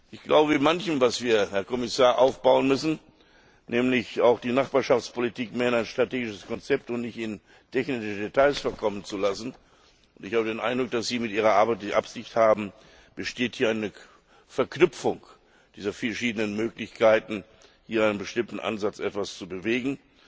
Ich glaube bei manchem, was wir, Herr Kommissar, aufbauen müssen nämlich auch die Nachbarschaftspolitik mehr in ein strategisches Konzept einbinden und nicht in technischen Details verkommen lassen, und ich habe den Eindruck, dass Sie mit Ihrer Arbeit diese Absicht haben besteht hier eine Verknüpfung dieser verschiedenen Möglichkeiten, hier in einem bestimmten Ansatz etwas zu bewegen.